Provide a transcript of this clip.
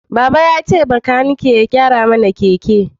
Baba ya ce makaniki ya gyara mana keke